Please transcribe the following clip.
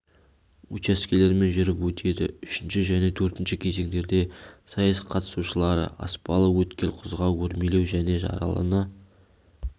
учаскелермен жүріп өтеді үшінші және төртінші кезеңдерде сайыс қатысушылары аспалы өткел құзға өрмелеу және жаралыны